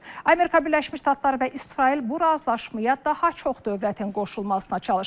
Amerika Birləşmiş Ştatları və İsrail bu razılaşmaya daha çox dövlətin qoşulmasına çalışır.